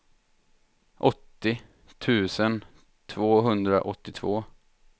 åttio tusen tvåhundraåttiotvå